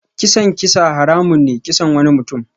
Kisan kisa haramun ne kisan wani mutum.